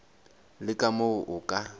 le ka moo o ka